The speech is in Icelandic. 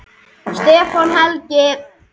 Stefán Helgi.